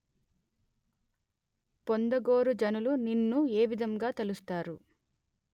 పొందగోరు జనులు నిన్ను ఏ విధంగా తలుస్తారు